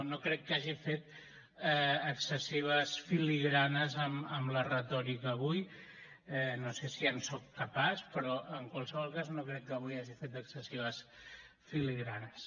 no crec que hagi fet excessives filigranes amb la retòrica avui no sé si en soc capaç però en qualsevol cas no crec que avui hagi fet excessives filigranes